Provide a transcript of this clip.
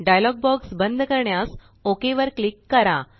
dialogue box बंद करण्यास OK वर क्लिक करा